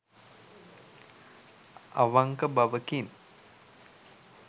අවංක බවකින්